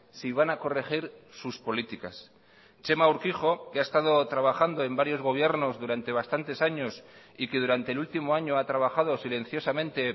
si van a corregir sus políticas txema urkijo que ha estado trabajando en varios gobiernos durante bastantes años y que durante el último año ha trabajado silenciosamente